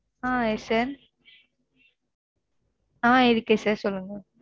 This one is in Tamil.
ஆஹ் இருக்கு ஆஹ் இருக்கு sir சொல்லுங்க